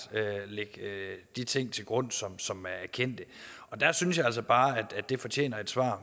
lægge de ting til grund som som er kendte der synes jeg altså bare at det fortjener et svar